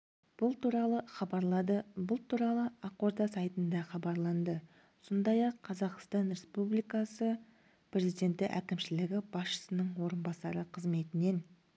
бұл туралы хабарлады бұл туралы ақорда сайтында хабарланды сондай-ақ қазақстан республикасы президенті әкімшілігі басшысының орынбасары қызметінен